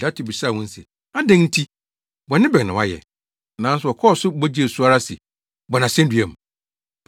Pilato bisaa wɔn se, “Adɛn nti? Bɔne bɛn na wayɛ?” Nanso wɔkɔɔ so bɔ gyee so ara se, “Bɔ no asennua mu!”